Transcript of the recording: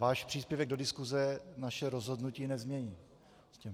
Váš příspěvek do diskuse naše rozhodnutí nezmění.